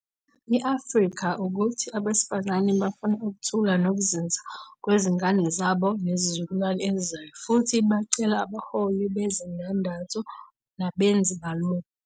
i-Afrika ukuthi abesifazane bafuna ukuthula nokuzinza kwezingane zabo nezizukulwane ezizayo futhi bacele abaholi bezindandatho nabenzi balokhu.